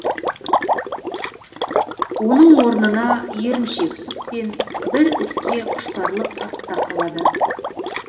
оның орнына еріншектік пен бір іске құштарлық артта қалады